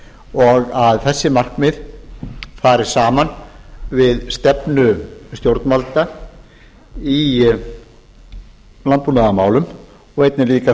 og þessi markmið fari saman við stefnu stjórnvalda í landbúnaðarmálum og einnig líka